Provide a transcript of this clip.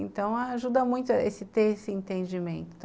Então, ajuda muito ter esse entendimento.